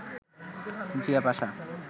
Zia Pasha